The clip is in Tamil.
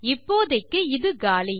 இப்போதைக்கு இது காலி